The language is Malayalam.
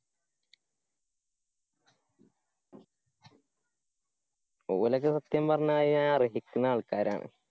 ഓലക്ക സത്യം പറഞ്ഞായിഞ്ഞാ അർഹിക്കുന്ന ആള്‍ക്കാരാണ്.